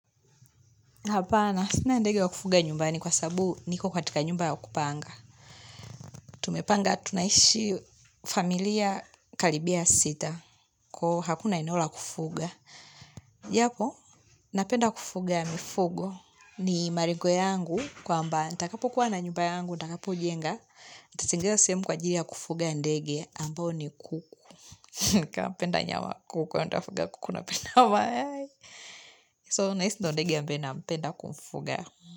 Hapana, sina ndege wa kufuga nyumbani kwa sababu niko katika nyumba ya kupanga. Hapana, sina ndege wa kufuga nyumbani kwa sababu niko katika nyumba ya kupanga. Japo, napenda kufuga mifugo ni malengo yangu kwamba, nitakapokuwa na nyumba yangu nitakapo jenga, nitategea sehemu kwa ajili ya kufuga ndege ambao ni kuku. Nika penda nyama kuku na nitafuga kuku na penda mayai. So, nahisi na ndege ambaye nampenda kumfuga.